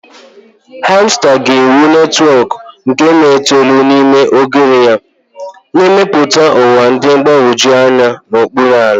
Hamster ga-ewu netwọk nke tonelu n'ime oghere ya, na-emepụta ụwa dị mgbagwoju anya n'okpuru ala.